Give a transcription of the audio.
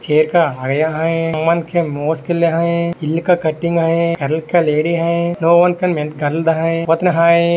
Chair का हैया है हुमन के मोज्किल्ले हैं इल्ल का कटिंग हैं कर्ल का लेडी हैं।